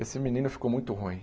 Esse menino ficou muito ruim.